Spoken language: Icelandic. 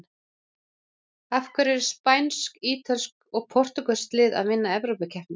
Af hverju eru spænsk, ítölsk og portúgölsk lið að vinna evrópukeppnir?